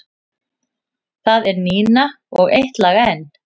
Það er Nína og Eitt lag enn.